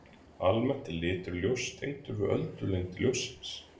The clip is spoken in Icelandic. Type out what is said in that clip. Almennt er litur ljóss tengdur við öldulengd ljóssins.